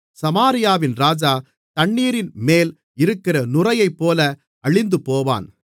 சமாரியாவின் ராஜா தண்ணீரின்மேல் இருக்கிற நுரையைப்போல் அழிந்துபோவான்